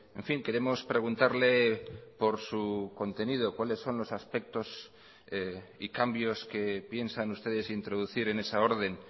en fin queremos preguntarle por su contenido cuáles son los aspectos y cambios que piensan ustedes introducir en esa orden